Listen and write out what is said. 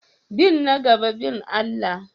Bin na gaba bin Allah.